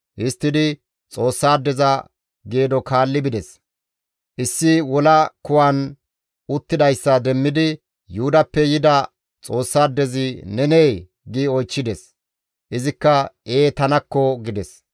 Histtidi Xoossaadeza geedo kaalli bides; issi wola kuwan uttidayssa demmidi, «Yuhudappe yida Xoossaadezi nenee?» gi oychchides. Izikka, «Ee tanakko!» gides.